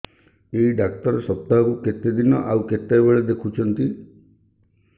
ଏଇ ଡ଼ାକ୍ତର ସପ୍ତାହକୁ କେତେଦିନ ଆଉ କେତେବେଳେ ଦେଖୁଛନ୍ତି